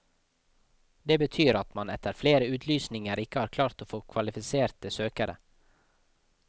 Det betyr at man etter flere utlysninger ikke har klart å få kvalifiserte søkere.